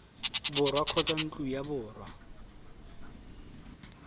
borwa kgotsa ntlo ya borongwa